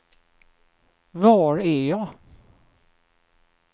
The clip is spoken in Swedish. var är jag